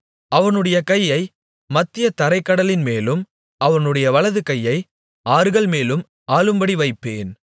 அவனுடைய கையை மத்திய தரைக் கடலின்மேலும் அவனுடைய வலது கையை ஆறுகள்மேலும் ஆளும்படி வைப்பேன்